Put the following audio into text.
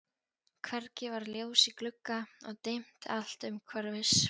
Hvergi var ljós í glugga og dimmt allt umhverfis.